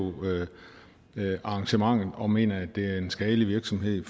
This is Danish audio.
arrangementet og mener at det er en skadelig virksomhed i